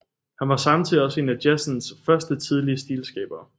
Han var samtidig også en af jazzens første tidlige stilskabere